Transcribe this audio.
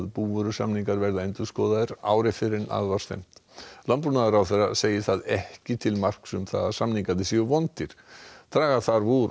búvörusamningar verða endurskoðaðir ári fyrr en að var stefnt landbúnaðarráðherra segir það ekki til marks um að samningarnir séu vondir draga þarf úr